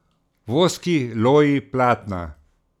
Voski, loji, platna.